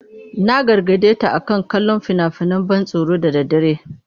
Na gargade ta akan kallon fina-finan ban tsoro da daddare.